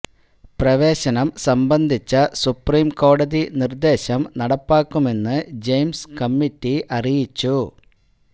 പ്രവേശനം സംബന്ധിച്ച സുപ്രിം കോടതി നിര്ദേശം നടപ്പാക്കുമെന്ന് ജയിംസ് കമ്മിറ്റി അറിയിച്ചു